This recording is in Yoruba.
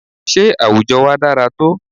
Sé àwùjọ wa dára tó?